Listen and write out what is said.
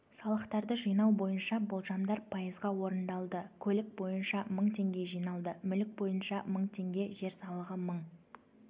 салықтарды жинау бойынша болжамдар пайызға орындалды көлік бойынша мың теңге жиналды мүлік бойынша мың теңге жер салығы мың